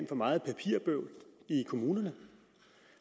for meget papirbøvl i kommunerne